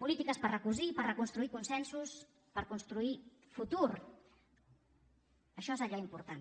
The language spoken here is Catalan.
polítiques per recosir i per reconstruir consensos per construir futur això és allò important